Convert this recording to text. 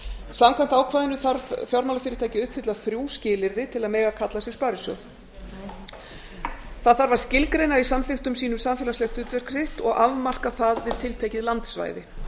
samkvæmt ákvæðinu þarf fjármálafyrirtæki að uppfylla þrjú skilyrði til að mega kalla sig sparisjóð það þarf að skilgreina í samþykktum sínum samfélagslegt hlutverk sitt og afmarka það við tiltekið landsvæði